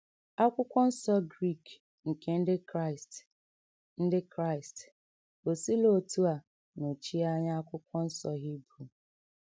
Akwụkwọ Nsọ Grik nke Ndị Kraịst Ndị Kraịst o sila otú a nọchie anya Akwụkwọ Nsọ Hibru?